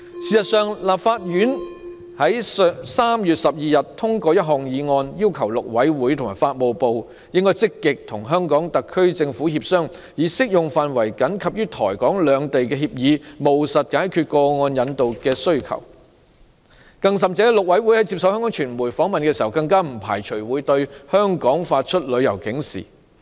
事實上，台灣立法院在3月12日通過一項議案，要求陸委會及法務部積極與香港特區政府協商，按照僅適用於台港兩地的協議，務實解決個案引渡需求，陸委會在接受香港傳媒訪問時更表示，不排除會向香港發出旅遊警示。